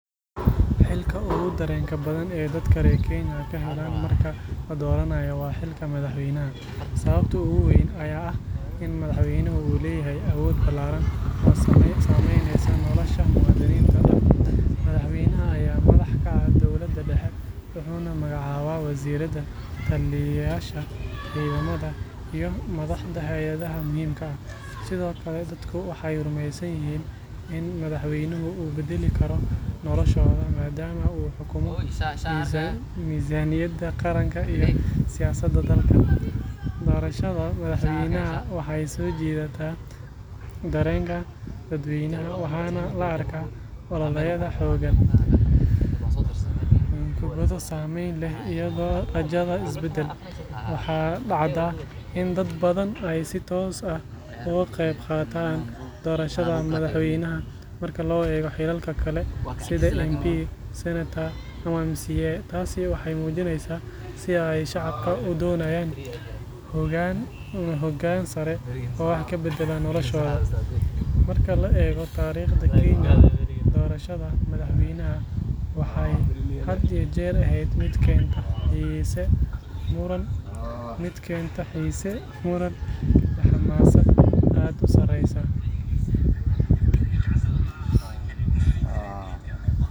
Xilka ugu dareenka badan ee dadka reer Kenya ka helaan marka la dooranayo waa xilka madaxweynaha. Sababta ugu weyn ayaa ah in madaxweynaha uu leeyahay awood ballaaran oo saameynaysa nolosha muwaadiniinta dhan. Madaxweynaha ayaa madax ka ah dowladda dhexe, wuxuuna magacaabaa wasiirrada, taliyeyaasha ciidamada, iyo madaxda hay’adaha muhiimka ah. Sidoo kale, dadku waxay rumeysan yihiin in madaxweynuhu uu beddeli karo noloshooda maadaama uu xukumo miisaaniyadda qaranka iyo siyaasadda dalka. Doorashada madaxweynaha waxay soo jiidataa dareenka dadweynaha, waxaana la arkaa ololayaal xooggan, khudbado saameyn leh, iyo rajada isbeddel. Waxaa dhacda in dad badan ay si toos ah uga qayb qaataan doorashada madaxweynaha marka loo eego xilalka kale sida MP,